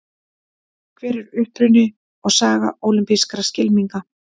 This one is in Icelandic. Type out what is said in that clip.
Hver er uppruni og saga ólympískra skylminga?